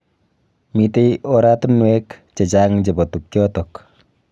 Mitei oratunwek chechang chebo tukjotok.